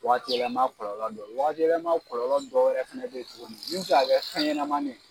Wagati yɛlɛma kɔlɔlɔ dɔ wagati yɛlɛma kɔlɔlɔ dɔ wɛrɛ fɛnɛ be yen tuguni min mi se ka kɛ fɛnɲɛnɛmanni